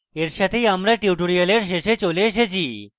এর সাথেই আমরা tutorial শেষে চলে এসেছি